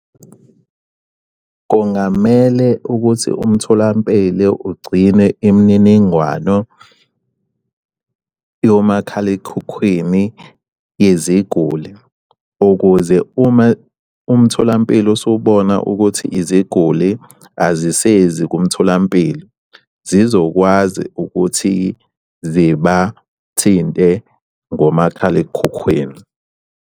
Kungamele ukuthi umtholampilo ugcine imininingwano yomakhalekhukhwini yeziguli ukuze uma umtholampilo usubona ukuthi iziguli azisezi kumtholampilo, zizokwazi ukuthi zibathinte ngomakhalekhukhwini.